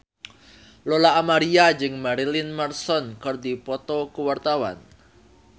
Lola Amaria jeung Marilyn Manson keur dipoto ku wartawan